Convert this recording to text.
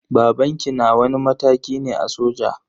Babanki na wani mataki ne a soja?